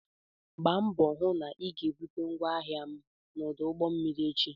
Gba mbọ hụ na ị ga-bute ngwaahịa m na ọdụ ụgbọ mmiri echi!